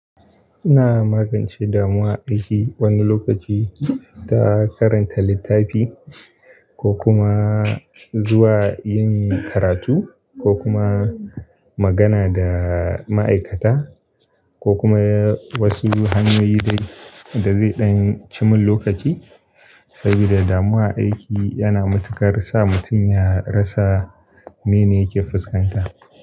Ina magance damuwar aiki wani lokaci ta karanta littafi ko kuma zuwa yin karatu ko kuma magana da ma'aikata ko kuma wasu hanyoyi da zai ɗan cimun lokaci. Sabida damuwa a aiki yana matuƙar sa mutum ya rasa mene yake fuskanta.